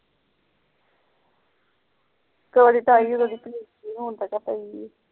ਕਾਹਦੀ ਟਾਇ ਹੁਣ ਤਾ ਕਿ ਏ